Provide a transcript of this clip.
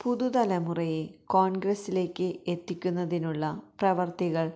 പുതു തലമുറയെ കോണ്ഗ്രസിലേക്ക് എത്തിക്കുന്നതിനുള്ള പ്രവര്ത്തികള്